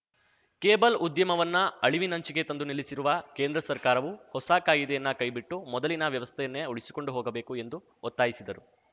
cable ಉದ್ಯಮವನ್ನು ಅಳಿವಿನಂಚಿಗೆ ತಂದು ನಿಲ್ಲಿಸಿರುವ ಕೇಂದ್ರ ಸರ್ಕಾರವು ಹೊಸ ಕಾಯಿದೆಯನ್ನ ಕೈಬಿಟ್ಟು ಮೊದಲಿನ ವ್ಯವಸ್ಥೆಯನ್ನೇ ಉಳಿಸಿಕೊಂಡು ಹೋಗಬೇಕು ಎಂದು ಒತ್ತಾಯಿಸಿದರು